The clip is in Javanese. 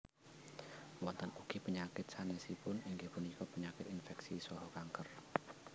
Wonten ugi penyakit sanésipun inggih punika penyakit inféksi saha kanker